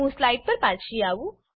હું સ્લાઈડ પર પાછી આવી છું